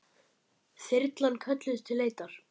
Þyrlan kölluð til leitar